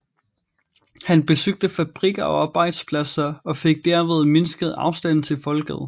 Han besøgte fabrikker og arbejdspladser og fik derved mindsket afstanden til folket